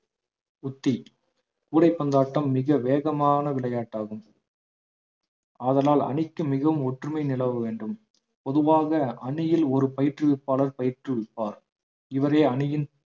உத்தி கூடைப்பந்தாட்டம் மிக வேகமான விளையாட்டு ஆகும் ஆதலால் அணிக்கு மிகவும் ஒற்றுமை நிலவ வேண்டும் பொதுவாக அணியில் ஒரு பயிற்றுவிப்பாளர் பயிற்றுவிப்பார் இவரே அணியின்